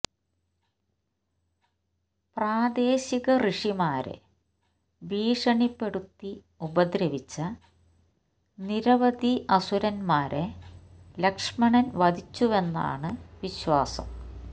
പ്രാദേശിക ഋഷിമാരെ ഭീഷണിപ്പെടുത്തി ഉപദ്രവിച്ച നിരവധി അസുരന്മാരെ ലക്ഷ്മണൻ വധിച്ചുവെന്നാണ് വിശ്വാസം